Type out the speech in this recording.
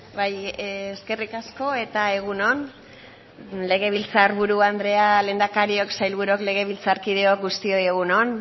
bai eskerrik asko eta egun on legebiltzar buru andrea lehendakariok sailburuok legebiltzarkideok guztioi egun on